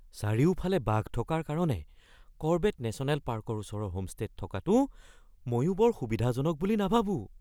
চাৰিওফালে বাঘ থকাৰ কাৰণে কৰবেট নেশ্যনেল পাৰ্কৰ ওচৰৰ হোমষ্টে'ত থকাটো ময়ো বৰ সুবিধাজনক বুলি নাভাবোঁ।